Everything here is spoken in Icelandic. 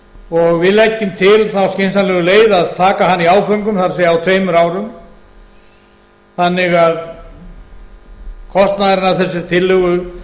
og við leggjum til þá skynsamlegu leið að taka hana í áföngum það er á tveimur árum þannig að kostnaðurinn af þessari tillögu